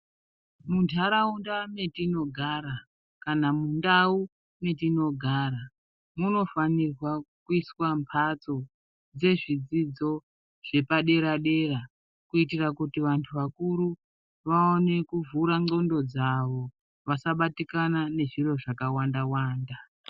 Muntaraunda mwetinogara kana mundau mwetinogara munofanirwa kuiswa mhatso dzezvidzidzo zvepadera dera kuitira kuti vantu vakuru vaone kuvhura ndxondo dzavo vasabatikana ngezviro zvakawanda wanda.